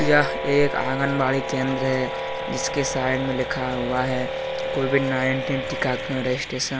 यह एक आंगनवाड़ी केंद्र है जिसके साइड में लिखा हुआ है कोविड नाइनटीन टिका रजिस्ट्रेशन ।